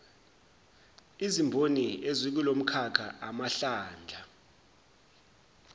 izimboni ezikulomkhakha amahlandla